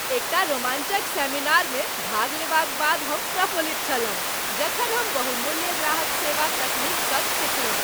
एकटा रोमांचक सेमिनारमे भाग लेबाक बाद हम प्रफुल्लित छलहुं जखन हम बहुमूल्य ग्राहक सेवा तकनीक सभ सीखलहुँ।